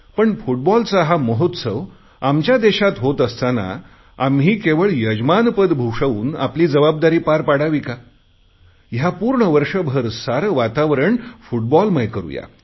पण फुटबॉलचा हा महोत्सव आमच्या देशात होत असताना आम्ही केवळ यजमानपद भूषवून आपली जबाबदारी पार पाडावी का या पूर्ण वर्षभर सारे वातावरण फुटबॉलमय करु या